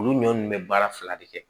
Olu ɲɔn nunnu be baara fila de kɛ